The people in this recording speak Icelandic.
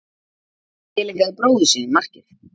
Tileinkaði bróður sínum markið